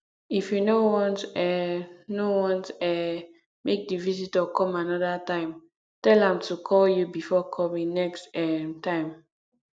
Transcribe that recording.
if you no want um no want um make di visitor come another time tell am to call you before coming next um time